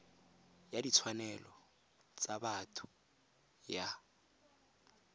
ya ditshwanelo tsa botho ya